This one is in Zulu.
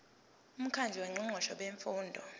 umkhandlu wongqongqoshe bemfundo